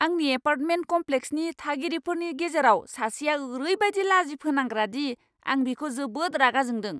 आंनि एपार्टमेन्ट कम्प्लेक्सनि थागिरिफोरनि गेजेराव सासेया ओरैबायदि लाजिफोनांग्रा दि आं बिखौ जोबोद रागा जोंदों!